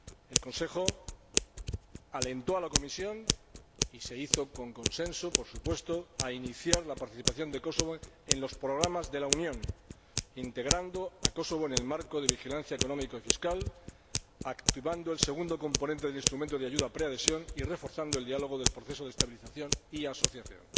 El Consejo alentó a la Comisión, y se hizo con consenso, por supuesto, a iniciar la participación de Kosovo en los programas de la Unión, integrando a Kosovo en el marco de vigilancia económica y fiscal, activando el segundo componente del instrumento de ayuda preadhesión y reforzando el diálogo del proceso de estabilización y asociación.